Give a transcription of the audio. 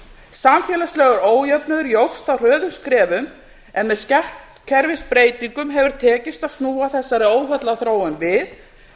samfélagslegur ójöfnuður jókst á hröðum skrefum en með skattkerfisbreytingum hefur tekist að snúa þessari óheillaþróun við